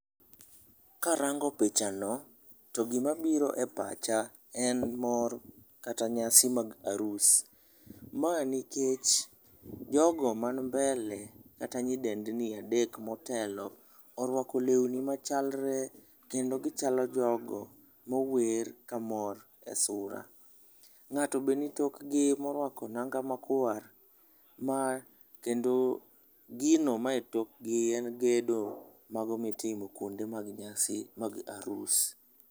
Karango pichano, ti gima biro e pacha en mor kata nyasi mag arus. Ma nikech jogo mani mbele kata nyidendni adek motelo orwako lewni machalre kendo gichalo jogo mawer kamor e sura. Ng'ato be nitokgi morwako nanga makwar, kendo gino ma etokgi en gedo mago mitimo kwonde mag nyasi mag arus.